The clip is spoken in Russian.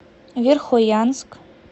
верхоянск